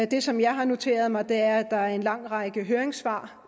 det som jeg har noteret mig er at der er en lang række høringssvar